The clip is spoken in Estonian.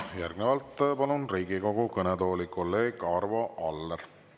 Järgnevalt palun Riigikogu kõnetooli kolleeg Arvo Alleri.